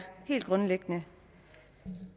helt grundlæggende